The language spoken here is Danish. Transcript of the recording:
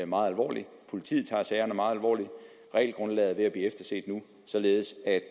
meget alvorligt og politiet tager sagerne meget alvorligt regelgrundlaget er ved at blive efterset nu således at